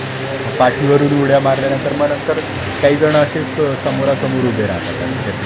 मग पाठीवरून उड्या मारल्यानंतर मग नंतर काहीजण असेच समोरासमोर उभे राहतात असे काहीतरी,